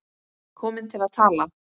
Komin til að tala.